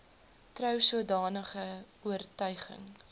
trou sodanige oortuiging